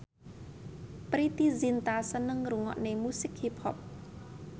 Preity Zinta seneng ngrungokne musik hip hop